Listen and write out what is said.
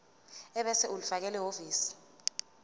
ebese ulifakela ehhovisi